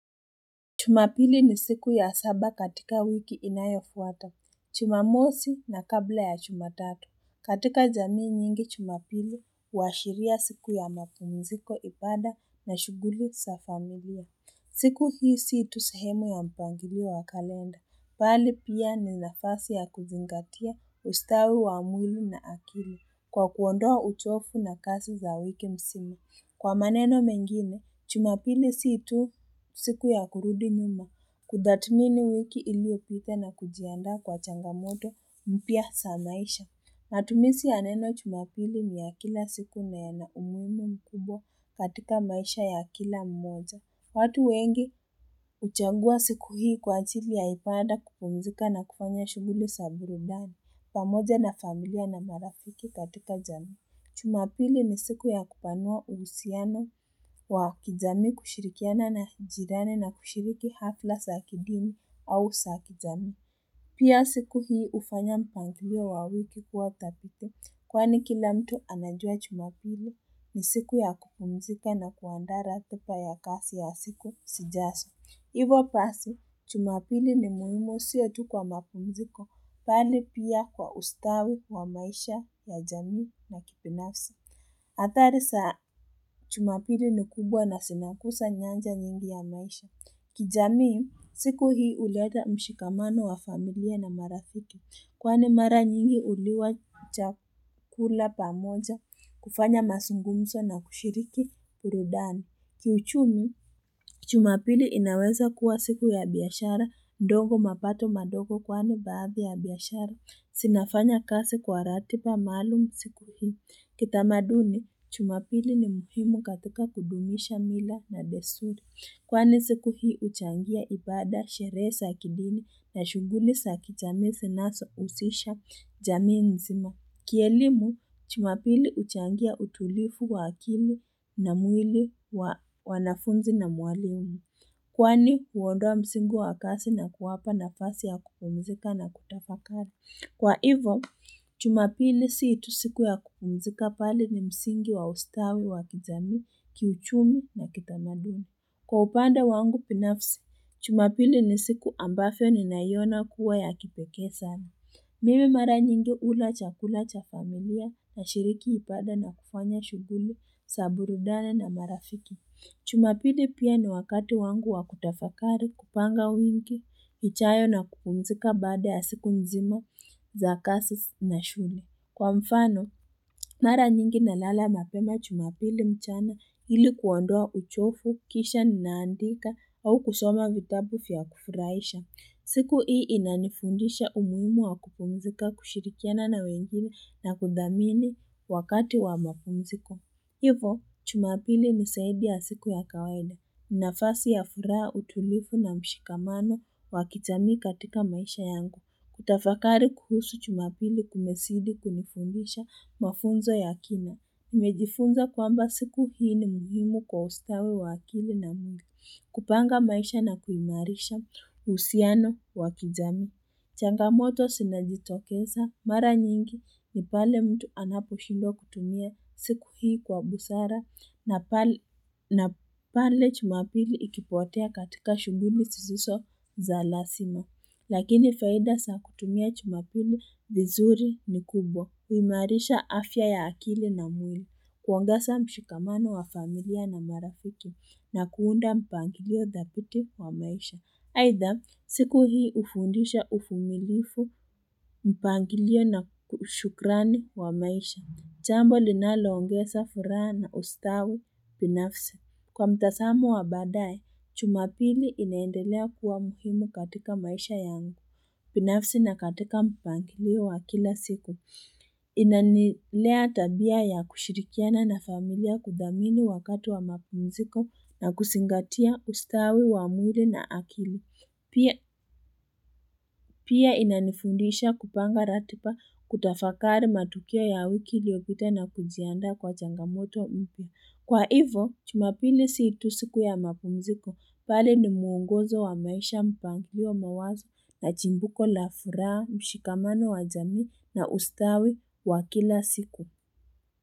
Jumapili ni siku ya saba katika wiki inayofuata, jumamosi na kabla ya jumatatu. Katika jamii nyingi jumapili, washiria siku ya mapunziko ibaada na shughuli sa familia. Siku hisi itusahemu ya mpwangilio wa kalenda. Pahali pia ni nafasi ya kuzingatia ustawi wa mwili na akili kwa kuondoa utofu na kasi za wiki msimi. Kwa maneno mengine, jumapili si tu siku ya kurudi nyuma. Kudatumini wiki iliopita na kujianda kwa changamoto mpia za maisha. Matumisi ya neno jumapili ni ya kila siku na ya na umuhimu mkubwa katika maisha ya kila mmoja. Watu wengi uchangua siku hii kwa ajili ya ibaada kupumzika na kupanya shughuli sa burudani. Pamoja na familia na marafiki katika jami. Jumapili ni siku ya kupanua uhusiana wa kijami kushirikiana na jirani na kushiriki hafla za kidini au za kijamii. Pia siku hii ufanya mpanglia wa wiki kuwa tapito kwani kila mtu anajua jumapili ni siku ya kupumzika na kuandara tupa ya kasi ya siku sijasu. Iwo pasi, jumapili ni muhimo siya tu kwa mapunziko, pali pia kwa ustawi kwa maisha ya jamii na kipinafsi. Atari saa, jumapili ni kubwa na sinakusa nyanja nyingi ya maisha. Kijamii, siku hii uleta mshikamano wa familia na marathiki, kwane mara nyingi uliwa kuchakula pa moja, kufanya masungumzo na kushiriki urudani. Kiuchumu, jumapili inaweza kuwa siku ya biashara, ndongo mapato madogo kwane babi ya biashara. Sinafanya kazi kwa ratiba maalum siku hii. Kitamaduni, jumapili ni mfimu katika kudumisha mira na desturi. Kwani siku hii uchangia ipada shere sakidini na shughuli za kijamii zinazo usisha jamii nzima. Kielimu, jumapili uchangia utulifu wa akili na mwili wanafunzi na mwalimu. Kwani, kuondoa msingu wa akasi na kuwapa na fasi ya kupumzika na kutapakari. Kwa hivyo, chumapili sii itusiku ya kupumzika pali ni msingu wa ustawi wa kijamii kiuchumi na kitamadumi. Kwa upanda wangu binafsi, jumapili ni siku ambayo ni nayona kuwa ya kipeke sana. Mimi mara nyingi ula chakula cha familia na shiriki ipada na kufanya shughuli, za burudana na marafiki. Chumapili pia ni wakati wangu wa kutafakari, kupanga uingi, ichayo na kukumzika bada ya siku nzima za kazi na shule. Kwa mfano, mara nyingi na lala mapema jumapili mchana ili kuondoa uchofu, kisha ninaandika au kusoma vitabu vya kufuraisha. Siku hii inanifundisha umuhimu wa kupumzika kushirikiana na wengine na kudhamini wakati wa mapumziko. Hivo, jumapili nisaidi ya siku ya kawaida. Mnafasi ya furaha utulivu na mshikamano wakitami katika maisha yangu. Kutafakari kuhusu jumapili kumesidi kunifundisha mafunzo ya kina. Nimejifunza kwamba siku hii ni muhimu kwa ustawi wakili na mungi. Kupanga maisha na kuimarisha usiano wakizami. Changamoto sinajitokesa mara nyingi ni pale mtu anapo shindo kutumia siku hii kwa busara na pale jumapili ikipotea katika shughuli sisiso za lasima. Lakini faida saa kutumia jumapili vizuri ni kubwa. Uimarisha afya ya akili na mwili kuongesa mshikamano wa familia na marafuti na kuunda mpangilio dhabiti wa maisha. Haitha, siku hii ufundisha ufumilifu mpangilio na kushukrani wa maisha. Jambo linalongesa furaha na ustawi binafsi. Kwa mtasamu wa baadaye, jumapili inaendelea kuwa muhimu katika maisha yangu. Binafsi na katika mpangilio wa kila siku. Inanilea tabia ya kushirikiana na familia kudhamini wakati wa mapunziko na kusingatia ustawi wa mwili na akili. Pia inanifundisha kupanga ratipa kutafakari matukia ya wiki iliopita na kujianda kwa changamoto mpi. Kwa hivo, jumapili situ siku ya mapumziko, pale ni muungozo wa maisha mpanglio mawazo na jimbuko la furaha, mshikamano wa jamii na ustawi wa kila siku.